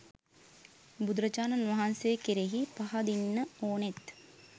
බුදුරජාණන් වහන්සේ කෙරෙහි පහදින්න ඕනෙත්